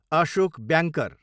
Ashok banker